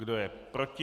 Kdo je proti?